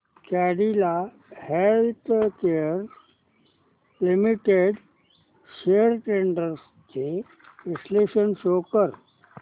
Cadila Healthcare Limited shares trends चे विश्लेषण show कर